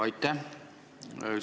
Aitäh!